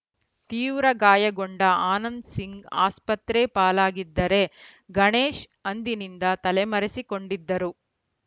ತೀವ್ರ ಗಾಯಗೊಂಡ ಆನಂದ್‌ ಸಿಂಗ್‌ ಆಸ್ಪತ್ರೆ ಪಾಲಾಗಿದ್ದರೆ ಗಣೇಶ್‌ ಅಂದಿನಿಂದ ತಲೆಮರೆಸಿಕೊಂಡಿದ್ದರು